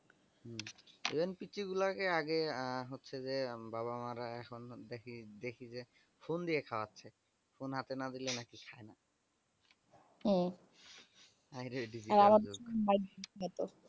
even petry গুলোকে আগে আ হচ্ছে যে এম বাবা মা রা বিদেশি দেখি দেখি যে phone দিয়ে খাওয়াচ্ছে phone হাতে না দিলে নাকি খায়না। হম হায়রে digital যুগ